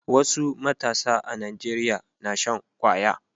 Wasu matasa a Najeriya na shan ƙwaya.